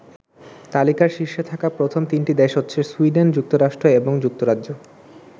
তালিকার শীর্ষে থাকা প্রথম তিনটি দেশ হচ্ছে সুইডেন, যুক্তরাষ্ট্র এবং যুক্তরাজ্য।